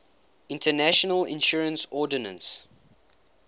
international insurance ordinance